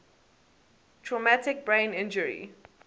traumatic brain injury